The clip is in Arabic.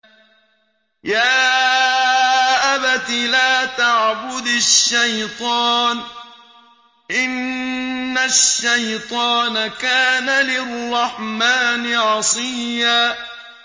يَا أَبَتِ لَا تَعْبُدِ الشَّيْطَانَ ۖ إِنَّ الشَّيْطَانَ كَانَ لِلرَّحْمَٰنِ عَصِيًّا